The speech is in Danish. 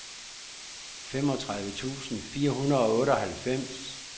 femogtredive tusind fire hundrede og otteoghalvfems